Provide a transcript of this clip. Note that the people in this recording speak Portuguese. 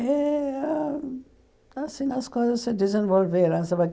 E a assim as coisas se desenvolveram.